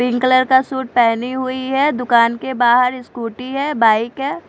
Pink colour का suit पेहनी हुई है दूकान के बाहर स्कूटी है बाइक है।